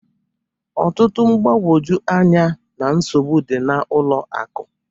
Ọtụtụ mgbagwoju anya na nsogbu dị n'ụlọ akụ